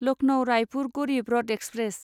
Lucknow Raipur Garib Rath express